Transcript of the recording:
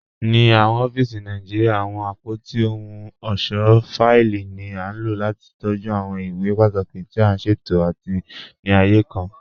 Ní awọn ọ̀fíìsì Nàìjíríà, awọn apótí òhùn ọṣọ́ fáìlì ni a ló láti tọjú awọn ìwé pátàkí tì a ṣẹtò àti ní ààyè kàn.